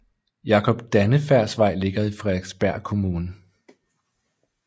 Jakob Dannefærds Vej ligger i Frederiksberg Kommune